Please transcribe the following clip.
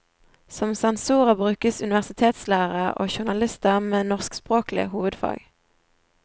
Som sensorer brukes universitetslærere og journalister med norskspråklig hovedfag.